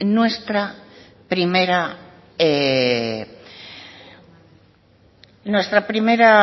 nuestra primera